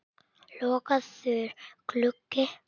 Lokaður gluggi.